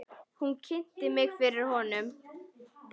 Hún kynnti mig fyrir honum.